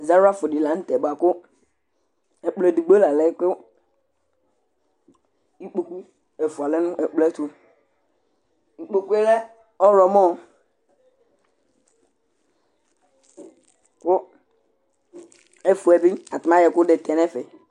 Izawla fu di la ntɛ bʋakʋ ɛkplɔ ɛdigbo la lɛ kʋ ikpoku ɛfʋa lɛ nʋ ɛkplɔ yɛ ɛtu Ikpoku lɛ ɔwlɔmɔ kʋ ɛfʋɛ bi atani ayɔ ɛkʋɛdi tɛ nu ɛfɛ